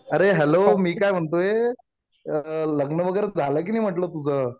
अरे हॅलो मी काय म्हणतोय लग्न वगैरे झालं कि नाही म्हटलं तुझं?